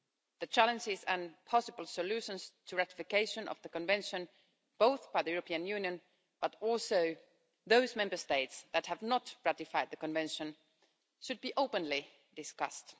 The challenges and possible solutions to ratification of the Convention, both by the European Union but also by those Member States that have not ratified the Convention, should be openly discussed.